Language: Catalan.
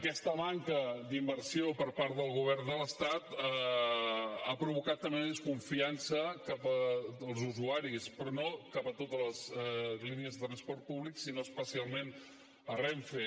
aquesta manca d’inversió per part del govern de l’estat ha provocat també una desconfiança dels usuaris però no cap a totes les línies de transport públic sinó especialment cap a renfe